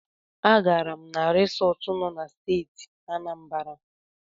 A gaara m na risọt nọ na Steeti Anambara.